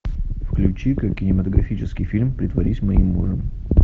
включи ка кинематографический фильм притворись моим мужем